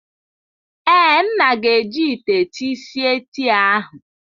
Ee. nna ga-eji ite tii sie tii ahu.